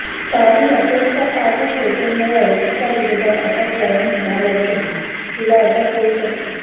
काही आक्षेपार्ह फोटोमुळे अर्शीच्या विरोधात अटक वॉरंट निघालं असून तिला अटक होऊ शकते